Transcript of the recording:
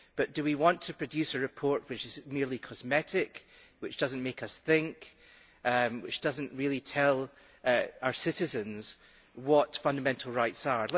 but do we want to produce a report which is merely cosmetic, which does not make us think and which does not really tell our citizens what fundamental rights are?